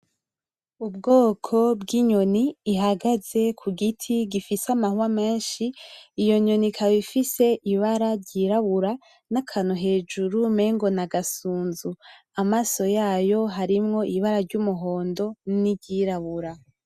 Ubwoko bw'inyoni ihagaze kugiti gifise amahwa menshi, iyo nyoni ikaba ifise ibara ry'irabura n'akantu hejuru umengo n'agasunzu, amaso yayo harimwo ibara ry'umuhondo niry'irabura.